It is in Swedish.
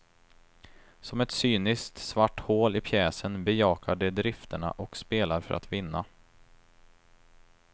Som ett cyniskt svart hål i pjäsen bejakar de drifterna och spelar för att vinna.